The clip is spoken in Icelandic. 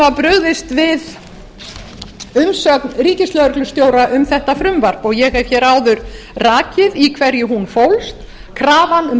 brugðist er við umsögn ríkislögreglustjóra um þetta frumvarp og ég hef áður rakið í hverju hún fólst krafan um